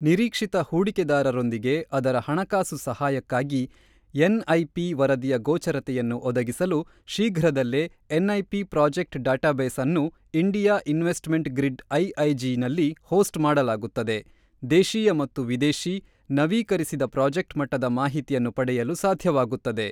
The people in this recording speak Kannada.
ನಿರೀಕ್ಷಿತ ಹೂಡಿಕೆದಾರರೊಂದಿಗೆ ಅದರ ಹಣಕಾಸು ಸಹಾಯಕ್ಕಾಗಿ ಎನ್ಐಪಿ ವರದಿಯ ಗೋಚರತೆಯನ್ನು ಒದಗಿಸಲು ಶೀಘ್ರದಲ್ಲೇ ಎನ್ಐಪಿ ಪ್ರಾಜೆಕ್ಟ್ ಡೇಟಾಬೇಸ್ ಅನ್ನು ಇಂಡಿಯಾ ಇನ್ವೆಸ್ಟ್ಮೆಂಟ್ ಗ್ರಿಡ್ ಐಐಜಿ ನಲ್ಲಿ ಹೋಸ್ಟ್ ಮಾಡಲಾಗುತ್ತದೆ ದೇಶೀಯ ಮತ್ತು ವಿದೇಶಿ, ನವೀಕರಿಸಿದ ಪ್ರಾಜೆಕ್ಟ್ ಮಟ್ಟದ ಮಾಹಿತಿಯನ್ನು ಪಡೆಯಲು ಸಾಧ್ಯವಾಗುತ್ತದೆ.